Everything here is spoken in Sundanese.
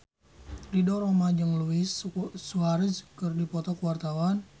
Ridho Roma jeung Luis Suarez keur dipoto ku wartawan